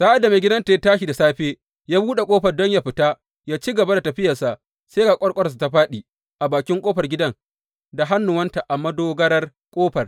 Sa’ad da maigidanta ya tashi da safe ya buɗe ƙofar gidan don yă fita ya ci gaba da tafiyarsa, sai ga ƙwarƙwararsa, ta fāɗi a bakin ƙofar gidan da hannuwanta a madogarar ƙofar.